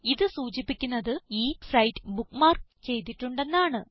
ഇത് സൂചിപ്പിക്കുന്നത് ഈ സൈറ്റ് ബുക്ക്മാർക്ക് ചെയ്തിട്ടുണ്ടെന്നാണ്